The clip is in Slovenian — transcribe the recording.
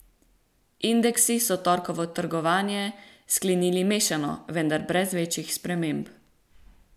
Indeksi so torkovo trgovanje sklenili mešano, vendar brez večjih sprememb.